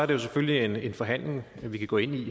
det selvfølgelig en forhandling vi kan gå ind i